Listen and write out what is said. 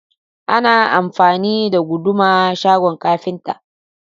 Ana amfani da Guduma shagon kafinta.